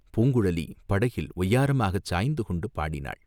பூங்குழலி படகில் ஒய்யாரமாகச் சாய்ந்து கொண்டு பாடினாள்.